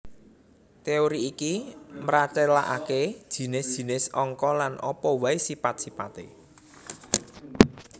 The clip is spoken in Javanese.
Téori iki mratélakaké jinis jinis angka lan apa waé sipat sipaté